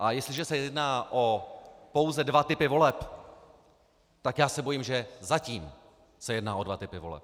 A jestliže se jedná o pouze dva typy voleb, tak já se bojím, že zatím se jedná o dva typy voleb.